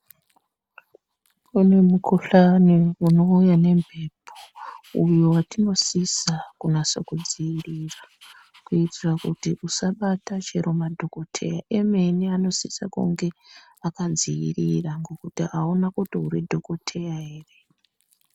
Kune mukhuhlani unouya nemphepo, uyo watinosisa kunase kudziirira, kuitira kuti usabata chero madhokotheya emene, anosise kunge akadziirira ngekuti akuna kuti uri dhokotheya ere.